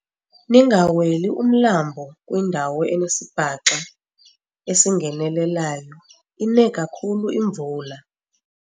Ningaweli umlambo kwindawo enesibhaxa esingenelelayo ine kakhulu imvula.